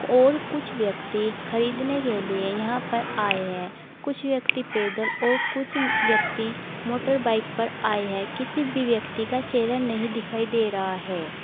और कुछ व्यक्ति खरीदने के लिए यहां पर आए हैं कुछ व्यक्ति पैदल और कुछ व्यक्ति मोटरबाइक पर आए हैं किसी भी व्यक्ति का चेहरा नहीं दिखाई दे रहा है।